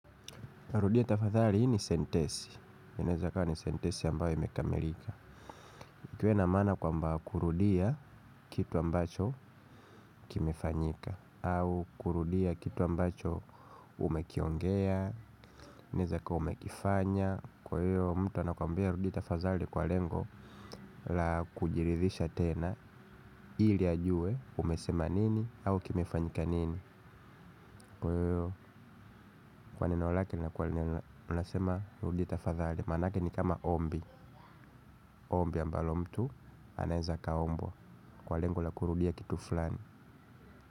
Rudia tafadhali, hii ni sentensi inaeza kaa ni sentensi ambayo imekamilika. Ikiwa na maana kwamba kurudia kitu ambacho kimefanyika, au kurudia kitu ambacho umekiongea inaeza kuwa umekifanya kwa hiyo mtu anakuambia rudia tafadhali kwa lengo la kujiridhisha tena ili ajue umesema nini au kimefanyika nini, kwa hiyo kwa neno lake linakuwa linasema rudia tafadhali maanake ni kama ombi. Ombi ambalo mtu, anaeza akaombwa, kwa lengo la kurudia kitu fulani.